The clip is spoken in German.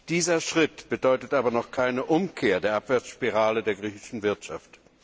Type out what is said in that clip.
Dieser Schritt bedeutet aber noch keine Umkehr der Abwärtsspirale der griechischen Wirtschaft.